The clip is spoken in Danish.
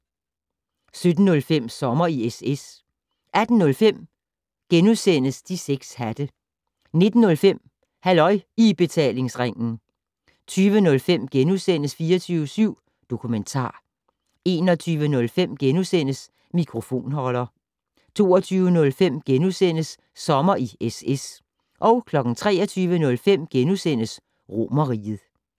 17:05: Sommer i SS 18:05: De 6 hatte * 19:05: Halløj I Betalingsringen 20:05: 24syv Dokumentar * 21:05: Mikrofonholder * 22:05: Sommer i SS * 23:05: Romerriget *